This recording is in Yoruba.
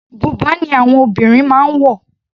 Bùbá ni àwọn obìnrin máa ń wọ̀.